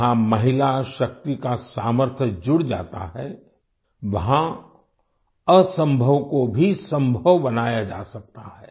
जहां महिला शक्ति का सामर्थ्य जुड़ जाता है वहाँ असंभव को भी संभव बनाया जा सकता है